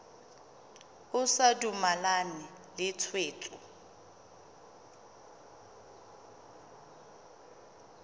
o sa dumalane le tshwetso